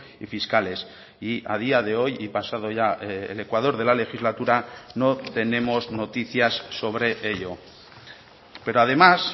y fiscales y a día de hoy y pasado ya el ecuador de la legislatura no tenemos noticias sobre ello pero además